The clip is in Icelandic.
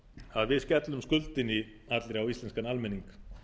að við skellum skuldinni allri á íslenskan almenning